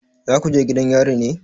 Za ku je gidan yari ne?